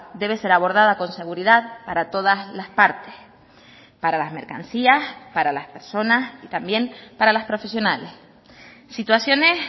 debe ser abordada con seguridad para todas las partes para las mercancías para las personas y también para las profesionales situaciones